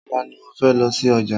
Ọ̀la ni mo fẹ́ lọ sí ọjà